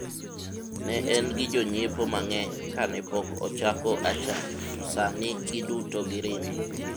ne en gi jonyiepo mang'eny kane pok ochako achaye to sani giduto giringe